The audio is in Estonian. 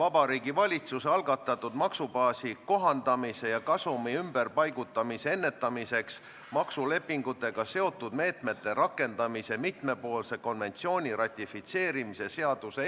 Artikli 13 lõige 2 kehtestab 21 000 euro suuruse ettemaksu kohustuse, mille raudteeveo-ettevõtja peaks reisija surma korral maksma tema lähedastele.